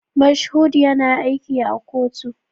Mashood yana aiki a kotu.